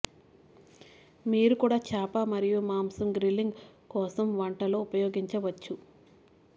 మీరు కూడా చేప మరియు మాంసం గ్రిల్లింగ్ కోసం వంట లో ఉపయోగించవచ్చు